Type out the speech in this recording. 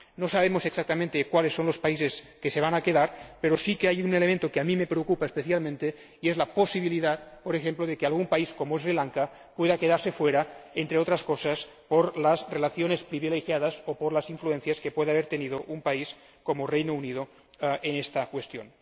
No sabemos exactamente cuáles son los países que se van a quedar, pero sí que hay un elemento que a mí me preocupa especialmente y es la posibilidad, por ejemplo, de que algún país, como Sri Lanka, pueda quedarse fuera, entre otras cosas, por sus relaciones privilegiadas o por las influencias que pueda haber tenido un país como el Reino Unido en esta cuestión.